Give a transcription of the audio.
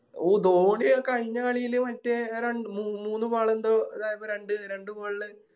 ഈ ധോണി കയിഞ്ഞ കളില് മറ്റേ ര മൂന്ന് Ball എന്തോ ഇതാ രണ്ട് രണ്ട് Ball ല്